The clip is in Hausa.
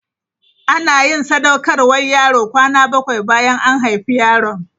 Ana yin sadaukarwar yaro kwana bakwai bayan an haifi yaron.